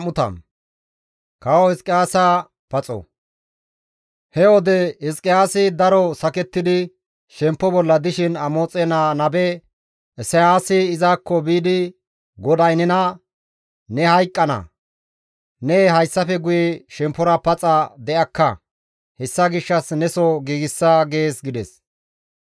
He wode Hizqiyaasi daro sakettidi shemppo bolla dishin Amoxe naa nabe Isayaasi izakko biidi, «GODAY nena, ‹Ne hayqqana; ne hayssafe guye shemppora paxa de7akka. Hessa gishshas neso giigsa› gees» gides.